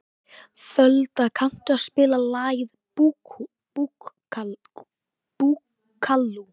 Folda, kanntu að spila lagið „Búkalú“?